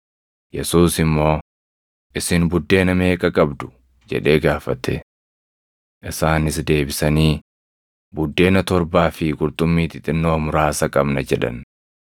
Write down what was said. Yesuus immoo, “Isin buddeena meeqa qabdu?” jedhee gaafate. Isaanis deebisanii, “Buddeena torbaa fi qurxummii xixinnoo muraasa qabna” jedhan.